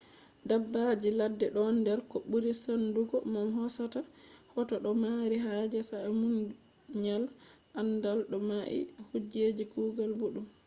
dabbaji ladde ɗon nder ko ɓuri saɗungo mo hosata hoto ɗo mari haje sa’a munyal aandal do mai be kuje kugal boɗɗum